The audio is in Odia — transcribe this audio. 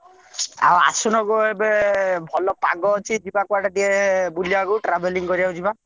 ଆଉ ଆସୁନ ଏବେ ଭଲ ପାଗ ଅଛି ଯିବା କୁଆଡେ ଟିକେ ବୁଲିବାକୁ travelling କରିବାକୁ ଯିବା।